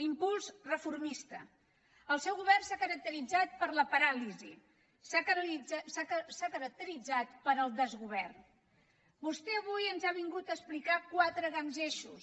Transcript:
l’impuls reformista el seu govern s’ha caracteritzat per la paràlisi s’ha caracteritzat pel desgovern vostè avui ens ha vingut a explicar quatre grans eixos